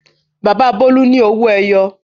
Bàbá Bólú ní Owó-ẹyọ.